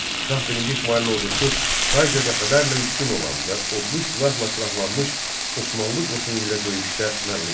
Şah birinci İsmayılın ordusu sayca dəfələrlə üstün olan və odlu silahla silahlanmış Osmanlı qoşunu ilə döyüşdə məğlub oldu.